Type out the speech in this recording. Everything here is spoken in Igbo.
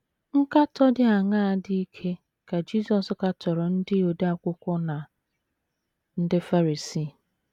Nkatọ dị aṅaa dị ike ka Jisọs katọrọ ndị odeakwụkwọ na ndị Farisii?